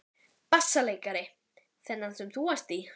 Ari fagnaði þessari fullyrðingu með lófataki.